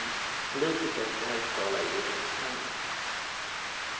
Politiker ska helst tala i idrottstermer.